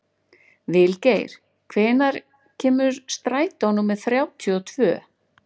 Vilgeir, hvenær kemur strætó númer þrjátíu og tvö?